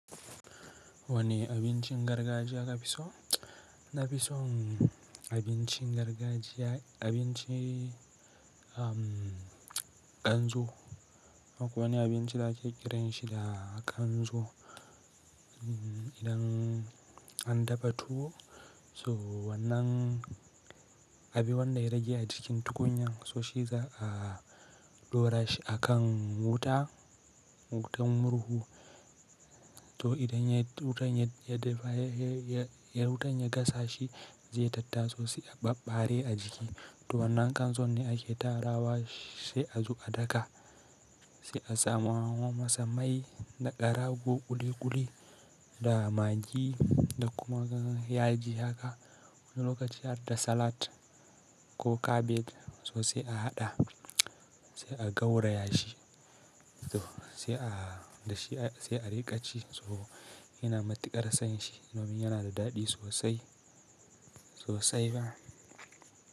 Wane abincin gargajiya ka fi so? Na fi son abincin gargajiya, abinci, um, kanzo. Akwai wani abinci da ake kiranshi da kanzo. Idan an dafa tuwo so wannan, abi wanda ya rage a jikin tukunyan so shi za a dora shi a kan wuta, wutan murhu. To idan ya, wutan ya dafa, ya, ya, wutan ya gasa shi zai tatta so sai a ɓabbare a jiki. To wannan kanzo ne ake tarawa shi sai a zuwa a daka. Sai a sama masa mai da ƙarago ƙuli-ƙuli da magi da kuma yaji haka. Wani lokaci har da salat ko kabeji so sai a haɗa, sai a gauraya shi. To sai a da shi, sai a riƙa ci so ina matuƙar son shi. Domin yana da daɗi sosai, sosai ba.